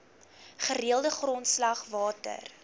gereelde grondslag water